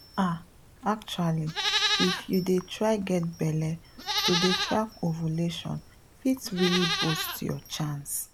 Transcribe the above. ah actually if you dey try get belle to dey track ovulation fit really boost your chance.